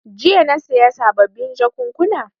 Jiya na saya sababin jakunkuna.